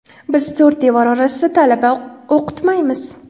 Biz to‘rt devor orasida talaba o‘qitmaymiz”.